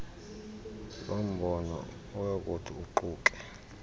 lombono oyakuthi uquke